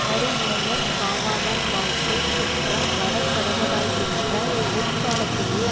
வருமுன்னர் காவாதான் வாழ்க்கை குற்றம் வரக்கடவதாகின்ற முற்காலத்திலே